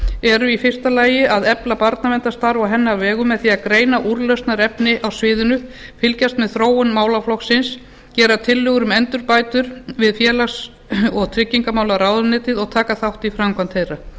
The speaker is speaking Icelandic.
liðum í fyrsta lagi að efla barnaverndarstarf á hennar vegum með því að greina úrlausnarefni á sviðinu fylgjast með þróun málaflokksins gera tillögur um endurbætur við félags og tryggingamálaráðuneytið og taka þátt í framkvæmd þeirra